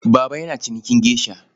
Baba yana cinikin geisha.